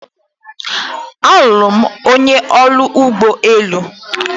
Alụrụ m onye ọrụ ụgbọ elu.